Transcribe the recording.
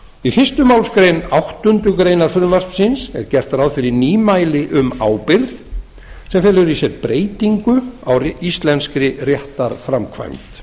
í fyrstu málsgrein áttundu greinar frumvarpsins er gert ráð fyrir nýmæli um ábyrgð sem felur í sér breytingu á íslenskri réttarframkvæmd samkvæmt